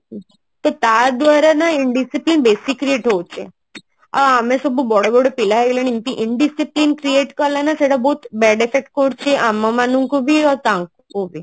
ତ ତା ଦ୍ଵାରା ନା Indiscipline ବେଶୀ create ହଉଛି ଆଉ ଆମେ ସଉ ବଡ ବଡ ପିଲା ହେଇଗଲେଣି Indiscipline create କଲେ ନା ସେଟା ବହୁତ bad effect କରୁଛି ଆମ ମାନଙ୍କୁ ବି ଆଉ ତାଙ୍କୁ ବି